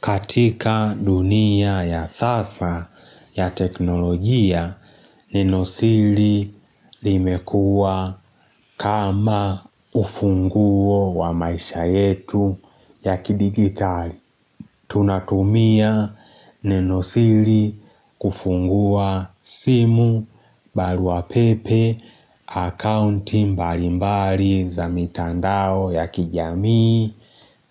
Katika dunia ya sasa ya teknolojia neno sili limekua kama ufunguo wa maisha yetu ya kidigitali. Tunatumia nenosili kufungua simu, barua pepe, akaunti mbali mbali za mitandao ya kijamii,